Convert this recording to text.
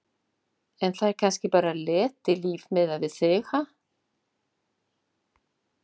En það er kannski bara letilíf miðað við þig, ha?!